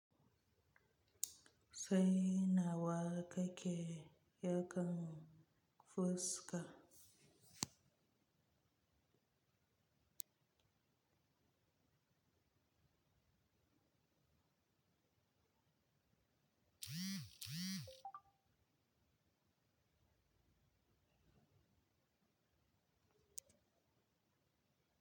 Sai nawa kake yakan fuska.